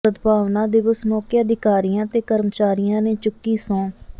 ਸਦਭਾਵਨਾ ਦਿਵਸ ਮੌਕੇ ਅਧਿਕਾਰੀਆਂ ਤੇ ਕਰਮਚਾਰੀਆਂ ਨੇ ਚੁੱਕੀ ਸਹੰੁ